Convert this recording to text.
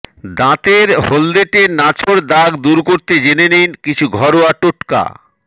দাঁতের হলদেটে নাছোড় দাগ দূর করতে জেনে নিন কিছু ঘরোয়া টোটকা